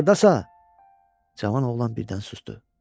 Axırdasa cavan oğlan birdən susdu.